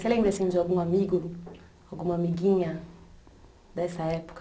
Você lembra assim de algum amigo, alguma amiguinha dessa época?